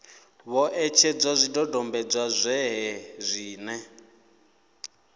vho etshedza zwidodombedzwa zwohe zwine